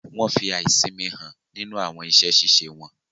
Wọn fí aisinmi hàn nínú awọn iṣẹ-ṣiṣe wọn.